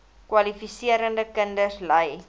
kwalifiserende kinders ly